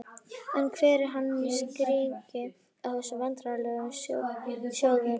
En hver er hans skýring á þessum vandræðum sjóðsins?